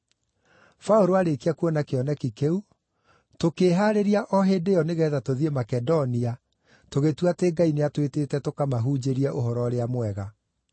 Paũlũ aarĩkia kuona kĩoneki kĩu, tũkĩĩhaarĩria o hĩndĩ ĩyo nĩgeetha tũthiĩ Makedonia, tũgĩtua atĩ Ngai nĩatwĩtĩte tũkamahunjĩrie Ũhoro-ũrĩa-Mwega.